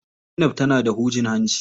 Zainab tana da hujin hanci.